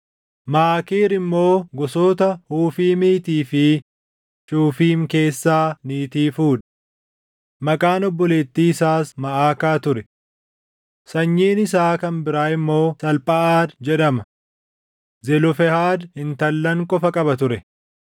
Maakiir immoo gosoota Hufiimiitii fi Shufiim keessaa niitii fuudhe. Maqaan obboleettii isaas Maʼakaa ture. Sanyiin isaa kan biraa immoo Salphaʼaad jedhama; Zelofehaad intallan qofa qaba ture.